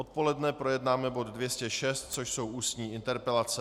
Odpoledne projednáme bod 206, což jsou ústní interpelace.